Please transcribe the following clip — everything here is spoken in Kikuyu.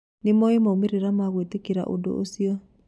Nĩmoe maumĩrĩra ma gwĩtekeria ũndũ ũcio